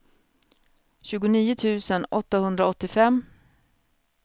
tjugonio tusen åttahundraåttiofem